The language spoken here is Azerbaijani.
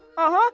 Aha, aha!